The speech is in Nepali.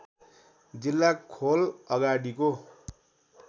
जिल्ला खोल अगाडिको